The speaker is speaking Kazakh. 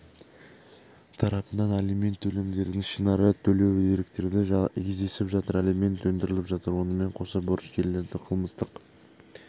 тарапынан алимент төлемдерін ішінара төлеу деректері кездесіп жатыр алимент өндіріліп жатыр онымен қоса борышкерлерді қылмыстық